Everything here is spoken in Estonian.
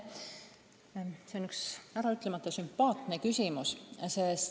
See on üks äraütlemata sümpaatne küsimus!